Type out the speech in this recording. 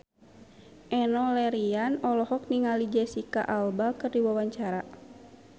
Enno Lerian olohok ningali Jesicca Alba keur diwawancara